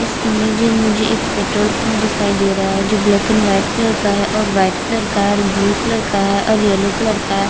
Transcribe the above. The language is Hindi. इस इमेज में मुझे एक पेट्रोल पंप दिखाई दे रहा है जो ब्लैक एंड वाइट कलर का है और वाइट कलर का है और ब्लू कलर का है और येलो कलर का हैं।